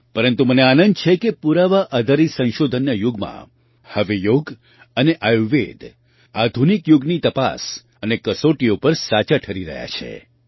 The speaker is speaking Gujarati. પરંતુ મને આનંદ છે કે પુરાવા આધારિત સંશોધનના યુગમાં હવે યોગ અને આયુર્વેદ આધુનિક યુગની તપાસ અને કસોટીઓ પર સાચાં ઠરી રહ્યાં છે